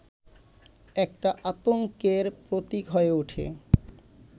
একটা আতংকের প্রতীক হয়ে ওঠে